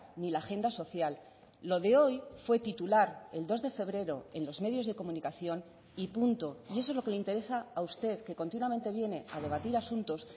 ni la agenda social lo de hoy fue titular el dos de febrero en los medios de comunicación y punto y eso es lo que le interesa a usted que continuamente viene a debatir asuntos